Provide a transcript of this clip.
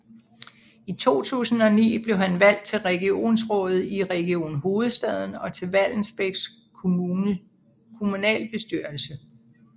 I 2009 blev han valgt til regionsrådet i Region Hovedstaden og til Vallensbæk kommunalbestyrelse